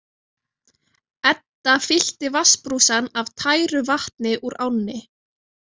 Edda fyllti vatnsbrúsann af tæru vatni úr ánni.